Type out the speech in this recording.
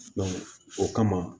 o kama